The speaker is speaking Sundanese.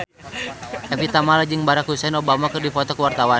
Evie Tamala jeung Barack Hussein Obama keur dipoto ku wartawan